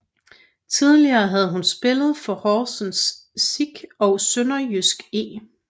Tidligere havde hun spillet for Horsens SIK og SønderjydskE